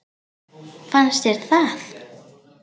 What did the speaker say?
Fannst þér það?